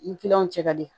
Ni kiliyanw cɛ ka di